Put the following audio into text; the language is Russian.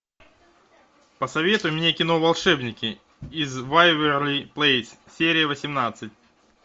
посоветуй мне кино волшебники из вэйверли плэйс серия восемнадцать